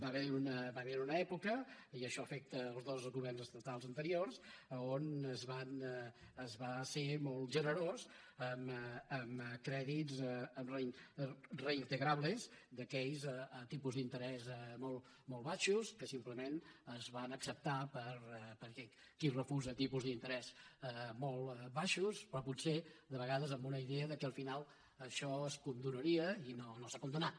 va haver hi una època i això afecta els dos governs estatals anteriors on es va ser molt generós amb crèdits reintegrables d’aquells tipus d’interès molt baixos que simplement es van acceptar perquè qui refusa tipus d’interès molt baixos però potser de vegades amb una idea que al final això es condonaria i no s’ha condonat